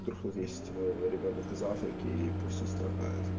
есть ребёнок в африке и пусть он страдает